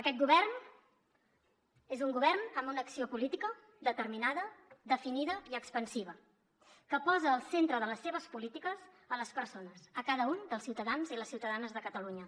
aquest govern és un govern amb una acció política determinada definida i expansiva que posa al centre de les seves polítiques les persones cada un dels ciutadans i les ciutadanes de catalunya